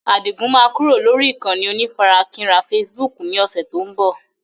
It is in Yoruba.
Adigun máa kúrò lórí ìkànnì onífarakínra Facebook ni ọ̀sẹ̀ tó ń bọ̀.